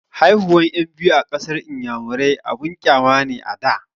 Haihuwan ƴan biyu a ƙasar inyamurai abun ƙyama ne a da